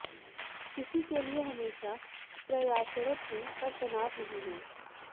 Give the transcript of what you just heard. इसी के लिए हमेशा प्रयासरत हूं पर तनाव नहीं है